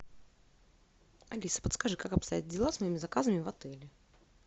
алиса подскажи как обстоят дела с моими заказами в отеле